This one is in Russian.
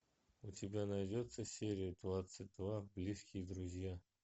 у тебя найдется серия двадцать два близкие друзья